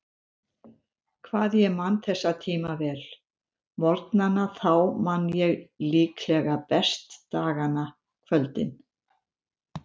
Hvað ég man þessa tíma vel: morgnana þá man ég líklega best dagana, kvöldin.